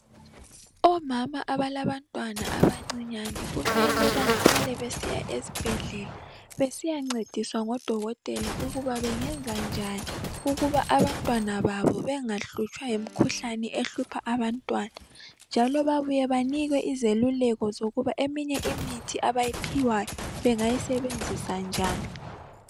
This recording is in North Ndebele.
Omama abalantwana abancinyane kumele bahlale besiya esibhedlela besiyancediswa ngodokotela ukuba bangenza njani ukuba abantwana babo bengahlutshwa yimikhuhlane ehlupha abantwana njalo babuye banikwe Izeluleko zokuba eminye imithi abayiphiwayo bengayisebenzisa njani